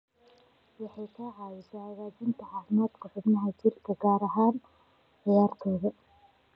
Waxay ka caawisaa hagaajinta caafimaadka xubnaha jirka, gaar ahaan ciyaartoyda.